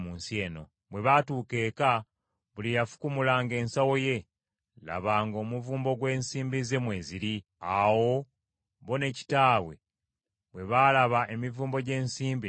Bwe baatuuka eka, buli eyafukumulanga ensawo ye, laba ng’omuvumbo gw’ensimbi ze mweziri. Awo bo ne kitaabwe bwe baalaba emivumbo gy’ensimbi ne batya.